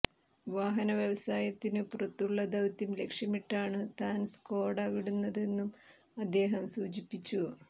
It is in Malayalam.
വാഹന വ്യവസായത്തിനു പുറത്തുള്ള ദൌത്യം ലക്ഷ്യമിട്ടാണു താൻ സ്കോഡ വിടുന്നതെന്നും അദ്ദേഹം സൂചിപ്പിച്ചു